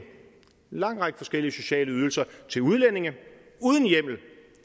lang række forskellige sociale ydelser til udlændinge uden hjemmel